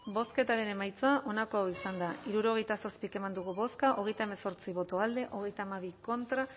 bozketaren emaitza onako izan da hirurogeita zazpi eman dugu bozka hogeita hemezortzi boto alde treinta y dos contra